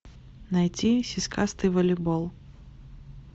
найти сиськастый волейбол